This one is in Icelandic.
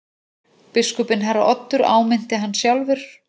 Biskupinn herra Oddur áminnti hann sjálfur.